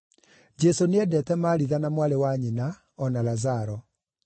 Jesũ nĩendete Maritha na mwarĩ wa nyina, o na Lazaro.